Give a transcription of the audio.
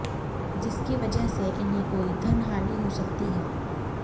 जिसकी वजह से इन्हें कोई धन हानि हो सकती है